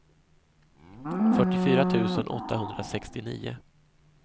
fyrtiofyra tusen åttahundrasextionio